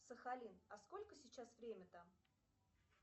сахалин а сколько сейчас время там